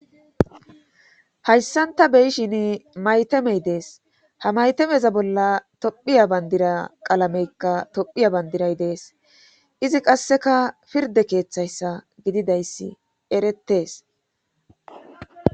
hayssan ta be7ishini mayteme des;ha matemeza bolla tophiya banddiraa qalameekka tophiya banddiray de7es;izi qasseka pirdde keetheyssa gididayssi erettes.